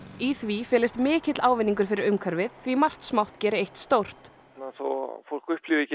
í því felist mikill ávinningur fyrir umhverfið því margt smátt geri eitt stórt þó fólk upplifi ekki